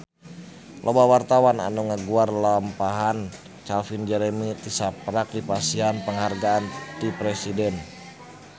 Loba wartawan anu ngaguar lalampahan Calvin Jeremy tisaprak dipasihan panghargaan ti Presiden